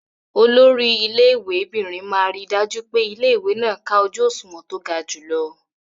Olori ilé ìwé'bìnrin máa ríi dájú pé ilé-ìwé náà ká ojú òṣùwọ̀n tó ga jùlọ.